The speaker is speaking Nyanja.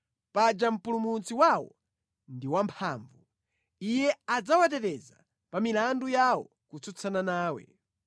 paja Mpulumutsi wawo ndi wamphamvu; iye adzawateteza pa milandu yawo kutsutsana nawe.